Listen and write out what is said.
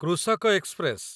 କୃଷକ ଏକ୍ସପ୍ରେସ